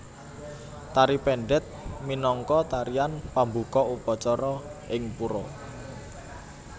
Tari Pendet minangka tarian pambuka upacara ing pura